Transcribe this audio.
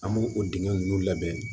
An b'o o dingɛ ninnu labɛn